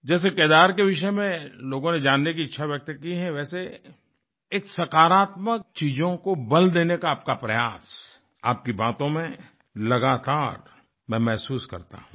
जैसे केदार के विषय में लोगों ने जानने की इच्छा व्यक्त की है वैसे एक सकारात्मक चीजों को बल देने का आपका प्रयास आपकी बातों में लगातार मैं महसूस करता हूँ